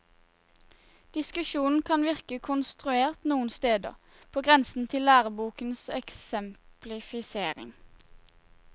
Diskusjonen kan virke konstruert noen steder, på grensen til lærebokens eksemplifisering.